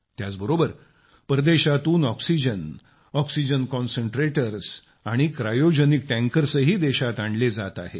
त्याचबरोबर परदेशातून oxygen oxygen concentrators आणि क्रायोजेनिक टँकर्सही देशात आणले जात आहेत